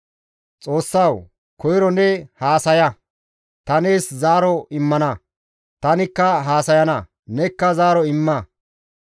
Xoossawu! Koyro ne haasaya; ta nees zaaro immana; tanikka haasayana; nekka zaaro imma.